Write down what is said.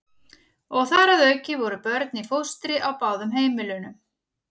Og þar að auki voru börn í fóstri á báðum heimilunum.